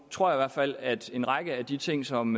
tror i hvert fald at en række af de ting som